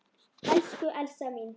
Elsku Elsa mín.